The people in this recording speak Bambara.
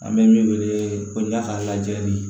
An bɛ min wele ko n'a ka lajɛli ye